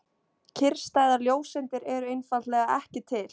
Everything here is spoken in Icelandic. Kyrrstæðar ljóseindir eru einfaldlega ekki til.